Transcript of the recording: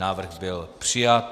Návrh byl přijat.